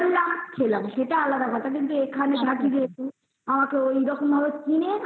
ধরলাম আর খেলাম সেতা আলাদা বেপার কিন্তু এইখানে কম কিনে